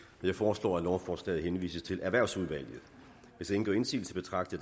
jeg foreslår at lovforslaget henvises til erhvervsudvalget hvis ingen gør indsigelse betragter